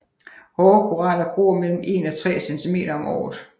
Hårde koraller gror mellem en og tre centimeter om året